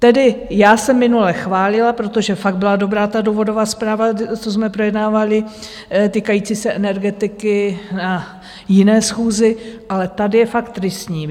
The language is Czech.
Tedy já jsem minule chválila, protože fakt byla dobrá ta důvodová zpráva, co jsme projednávali, týkající se energetiky na jiné schůzi, ale tady je fakt tristní.